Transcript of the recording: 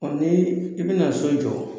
O ni i bina so jɔ